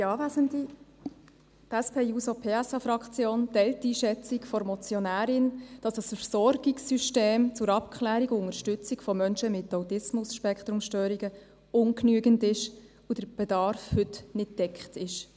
Die SP-JUSO-PSA-Fraktion teil die Einschätzung der Motionärin, wonach das Versorgungssystem zur Abklärung und Unterstützung von Menschen mit ASS ungenügend ist und der Bedarf heute nicht gedeckt ist.